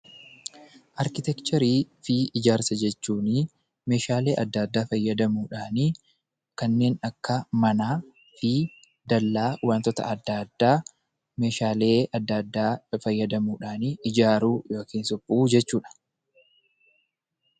Arkiteekchariifi ijaarsa jechuun meeshaalee adda addaa fayyadamuudhaan kanneen akka manaafi dallaa wantoota adda addaa meeshaalee fayyadamuudhaanii ijaaruu yookaan suphuu jechuudha.